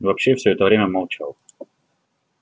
вообще все это время молчал